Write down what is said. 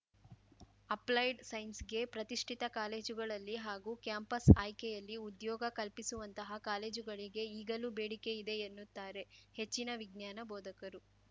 applied ಸೈನ್ಸ್‌ಗೆ ಪ್ರತಿಷ್ಠಿತ ಕಾಲೇಜುಗಳಲ್ಲಿ ಹಾಗೂ ಕ್ಯಾಂಪಸ್‌ ಆಯ್ಕೆಯಲ್ಲಿ ಉದ್ಯೋಗ ಕಲ್ಪಿಸುವಂತಹ ಕಾಲೇಜುಗಳಿಗೆ ಈಗಲೂ ಬೇಡಿಕೆ ಇದೆ ಎನ್ನುತ್ತಾರೆ ಹೆಚ್ಚಿನ ವಿಜ್ಞಾನ ಬೋಧಕರು